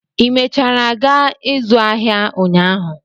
ị mechara gaa ịzụ ahịa ụnyaahụ?